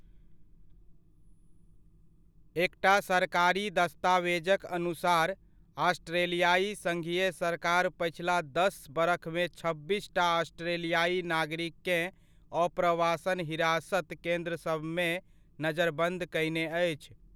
एकटा सरकारी दस्तावेजक अनुसार, ऑस्ट्रेलियाइ सङ्घीय सरकार पछिला दस बरखमे छब्बीसटा ऑस्ट्रेलियाइ नागरिककेँ अप्रवासन हिरासत केन्द्रसभमे नजरबन्द कयने अछि।